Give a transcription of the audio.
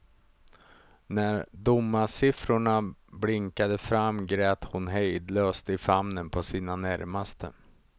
När domarsiffrorna blinkade fram grät hon hejdlöst i famnen på sina närmaste.